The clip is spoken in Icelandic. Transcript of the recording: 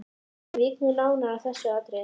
Ég vík nú nánar að þessu atriði.